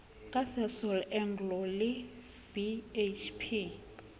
ka sasol anglo le bhp